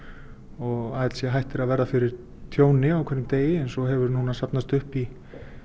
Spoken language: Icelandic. og hættir að verða fyrir tjóni á hverjum degi eins og hefur núna safnast upp í